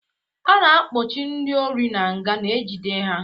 A na-akpọchi ndị ori n'nga na-ejide ha